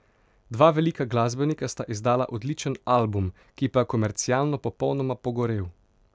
Dva velika glasbenika sta izdala odličen album, ki pa je komercialno popolnoma pogorel.